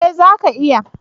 Eh, zaka iya